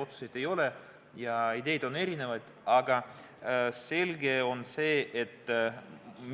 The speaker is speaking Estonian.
Otsuseid ei ole ja ideed on erinevad, aga selge on see, et